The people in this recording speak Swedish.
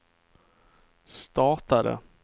startade